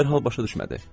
O dərhal başa düşmədi.